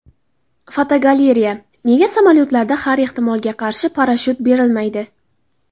Fotogalereya: Nega samolyotlarda har ehtimolga qarshi parashyut berilmaydi.